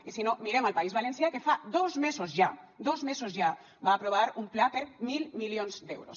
i si no mirem al país valencià que fa dos mesos ja dos mesos ja va aprovar un pla per mil milions d’euros